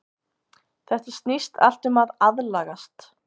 Þetta snýst allt um að aðlagast.